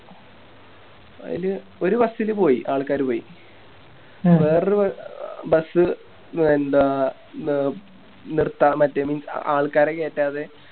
അയില് ഒരു Bus ല് പോയി ആൾക്കാര് പോയി വേറൊരു Bus എന്താ നിർത്താൻ മറ്റേല് ആൾക്കാരെ കെറ്റാതെ